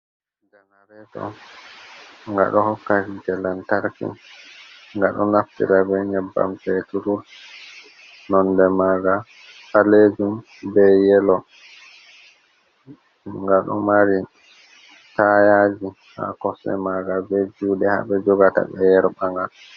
Ganareto. Ngaɗo hokka hite lantarki, ngaɗo naftira be nyebbam peturur, nonde manga ɓaleejum, be yelo ngaɗo mari tayaaji haa kosɗe manga, be juuɗe haɓe jogata ɓe yerɓanga.